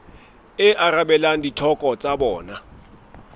e arabelang ditlhoko tsa bona